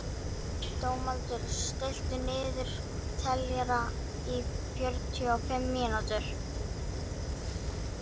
Dómaldur, stilltu niðurteljara á fjörutíu og fimm mínútur.